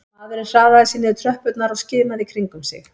Maðurinn hraðaði sér niður tröppurnar og skimaði í kringum sig